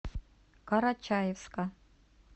карачаевска